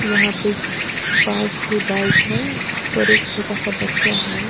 यहां पे पांच छे बाइक है और एक छोटा सा बच्चा है।